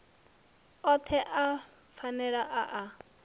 othe a phanele a a